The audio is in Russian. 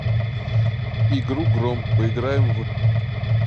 игру гром поиграем в